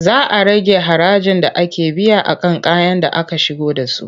Za a rage harajin da ake biya a kan kayan da aka shigo da su.